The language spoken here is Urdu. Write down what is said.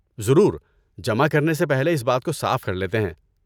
ضرور، جمع کرنے سے پہلے اس بات کو صاف کر لیتے ہیں۔